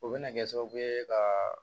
O bɛna kɛ sababu ye ka